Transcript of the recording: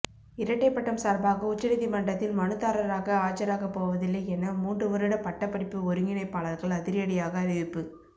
இரட்டைப் பட்டம் சார்பாக உச்சநீதிமன்றத்தில் மனுதாரராக ஆஜராக போவதில்லை என மூன்று வருட பட்டப்படிப்பு ஒருங்கிணைப்பாளர்கள் அதிரடியாக அறிவிப்பு